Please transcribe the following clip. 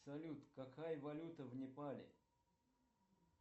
салют какая валюта в непале